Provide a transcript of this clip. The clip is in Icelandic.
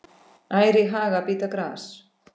Ær í haga bíta gras.